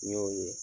N y'o ye